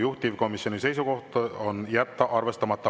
Juhtivkomisjoni seisukoht on jätta arvestamata.